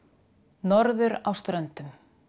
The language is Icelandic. norður á Ströndum